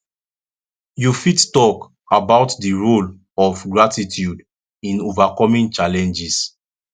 you fit talk fit talk about di role of gratitude in overcoming challenges